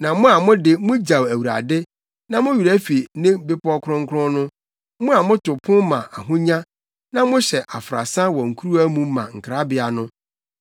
“Na mo a mo de mugyaw Awurade na mo werɛ fi ne bepɔw kronkron no, mo a moto pon ma Ahonya na mohyɛ afrasa wɔ nkuruwa mu ma Nkrabea no,